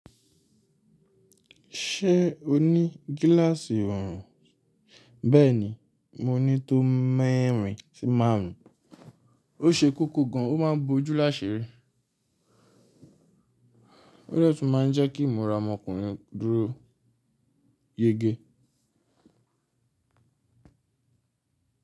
Ṣé o ní gíláàsì ọrùn? Bẹ́ẹ̀ni, mo ní tó m’ẹ́rin sí márùn-ún. Ó ṣe kókó gan, ó máa ń bo ojú lásirí. O dẹ́tí máa ń jẹ́ kí imura ọmọkùnrin dúró yege.